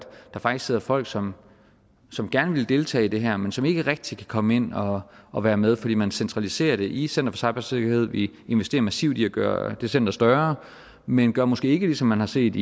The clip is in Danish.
der faktisk sidder folk som som gerne vil deltage i det her men som ikke rigtig kan komme ind og og være med fordi man centraliserer det i center for cybersikkerhed vi investerer massivt i at gøre det center større men gør måske ikke ligesom man har set